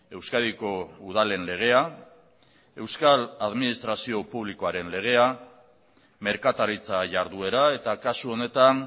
euskadiko udalen legea euskal administrazio publikoaren legea merkataritza jarduera eta kasu honetan